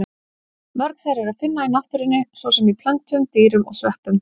Mörg þeirra er að finna í náttúrunni, svo sem í plöntum, dýrum og sveppum.